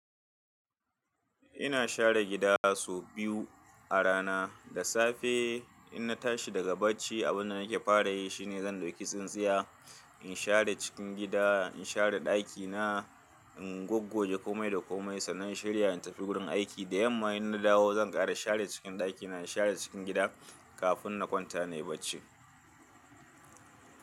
Ina share gida sau biyu a rana. Da safe in na tashi daga bacci abunda nake fara yi shine zan ɗauki tsintsiya in share cikin gida, in share ɗakina, in goggoje komai da komai sannan shirya in tafi gurin aiki. Da yamma in na dawo zan ƙara share cikin ɗakina, in share cikin gida kafin na kwanta nayi bacci.